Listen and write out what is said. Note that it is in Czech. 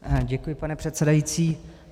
Děkuji, pane předsedající.